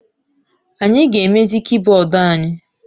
Anyị ga-emezi kibọọdụ anyị.